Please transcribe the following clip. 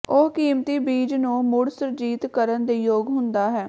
ਉਹ ਕੀਮਤੀ ਬੀਜ ਨੂੰ ਮੁੜ ਸੁਰਜੀਤ ਕਰਨ ਦੇ ਯੋਗ ਹੁੰਦਾ ਹੈ